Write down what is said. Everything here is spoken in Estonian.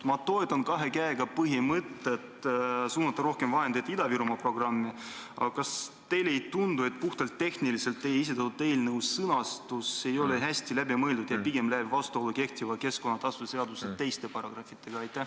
Ma toetan kahe käega põhimõtet suunata rohkem vahendeid Ida-Virumaa programmi, aga kas teile ei tundu, et puhtalt tehniliselt ei ole teie esitatud eelnõu sõnastus hästi läbi mõeldud ja läheb pigem vastuollu kehtiva keskkonnatasude seaduse teiste paragrahvidega?